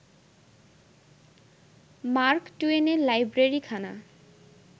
mark টুয়েনের লাইব্রেরিখানা